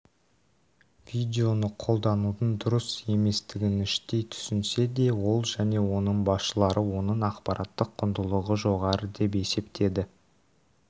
видеоны қолданудың дұрыс еместігініштей түсінсе де ол және оның басшылары оның ақпараттық құндылығы жоғары деп есептеді